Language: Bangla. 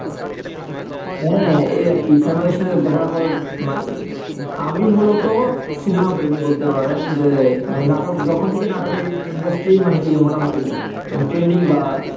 হ্যাঁ, এই আর কি family সাথে দেখা করার মানে কি? আমি মূলত সিনেমা প্রেমী বলতে পারেন যে মানে নাটক যখন থেকে নাটক এই industry মানে কি মোটামুটি trending বা